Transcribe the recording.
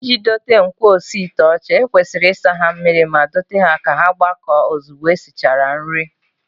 Iji dote ngwaosiite ọcha, e kwesịrị isa ha mmiri ma dote ha ka ha gbakọọ ozugbo e sichara nri